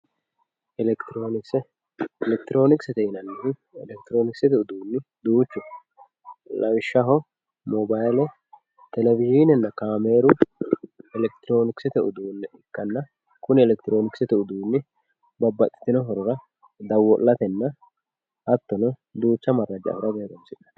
elekitironkise elekitironkisete yinanihu elekitironikisete uduunni duuchu no lawishaho mooballe televizhinenna kaammeru elekitironikisette uduunne ikanna kunni elekitironokisete uduunni babaxitinno hoorora dawolatenna hatono duucha maraja afirate horonsinemo